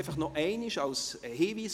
Nun nochmals ein Hinweis für alle: